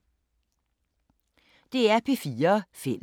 DR P4 Fælles